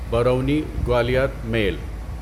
برونی Gwalior میل